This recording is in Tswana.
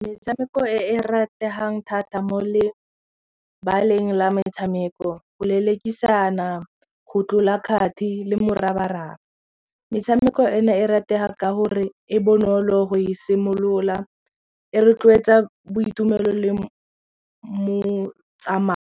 Metshameko e e rategang thata mo lebaleng la metshameko go lelekisana, go tlola kgati le morabaraba. Metshameko ena e ratega ka gore e bonolo go e simolola e rotloetsa boitumelo le .